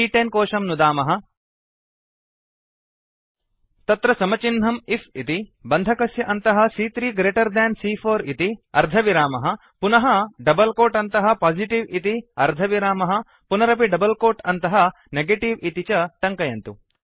सी॰॰10 कोशं नुदार्मः तत्र समचिह्नं आईएफ इति बन्धकस्य अन्तः सी॰॰3 ग्रेटर् देन् सी॰॰4 इति अर्धविरामः पुनः डबल् कोट् अन्तः पोजिटिव् इति अर्धविरामः पुनरपि डबल् कोट् अन्तः नेगेटिव इति च टङ्कयन्तु